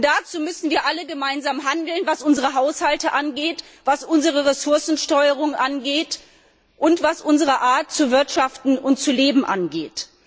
Dazu müssten wir alle gemeinsam handeln, was unsere Haushalte angeht, was unsere Ressourcensteuerung angeht und was unsere Art, zu wirtschaften und zu leben, angeht.